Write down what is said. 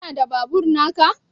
Kana da Mai a babur naka?